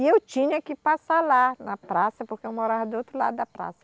E eu tinha que passar lá, na praça, porque eu morava do outro lado da praça.